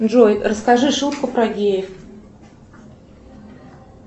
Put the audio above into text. джой расскажи шутку про геев